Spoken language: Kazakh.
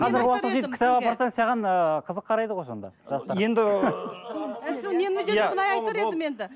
саған ыыы қызық қарайды ғой сонда